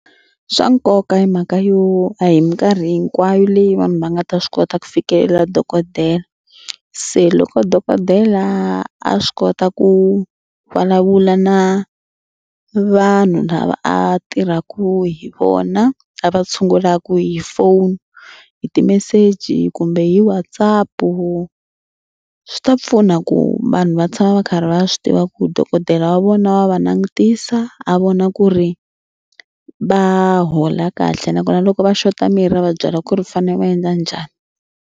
Swa nkoka hi mhaka yo a hi mikarhi hinkwayo leyi vanhu va nga ta swi kota ku fikelela dokodela. Se loko dokodela a swi kota ku vulavula na vanhu lava a tirhaka hi vona a va tshungulaka hi phone hi ti-message kumbe hi WhatsApp swi ta pfuna ku vanhu va tshama va karhi va swi tiva ku dokodela wa vona wa va langutisa a vona ku ri va hola kahle nakona loko va xota mirhi ra va byela ku ri fanele va endla njhani.